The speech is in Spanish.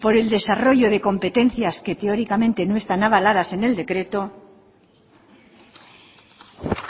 por el desarrollo de competencias que teóricamente no están avaladas en el decreto